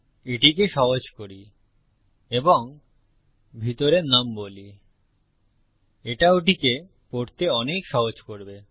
এটিকে সহজ করি এবং ভিতরে নুম বলি এটা ওটিকে পড়তে অনেক সহজ করবে